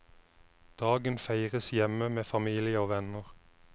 Dagen feires hjemme med familie og venner.